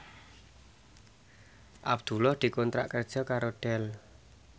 Abdullah dikontrak kerja karo Dell